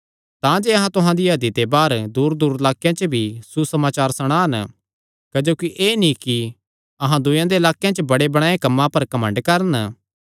तांजे अहां तुहां दिया हदी ते बाहर दूरदूर लाक्केयां च भी सुसमाचार सणान क्जोकि एह़ नीं कि अहां दूयेयां दे लाक्केयां च बणेबणायो कम्मां पर घमंड करन